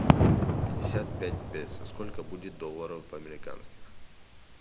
пятьдесят пять песо сколько будет долларов американских